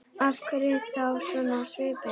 Af hverju ertu þá svona á svipinn?